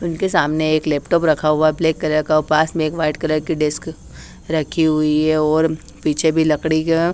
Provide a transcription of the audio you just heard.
उनके सामने एक लैपटॉप रखा हुआ है ब्लैक कलर का और पास में एक व्हाईट कलर की डेस्क रखी हुई है और पीछे भी लकड़ी का--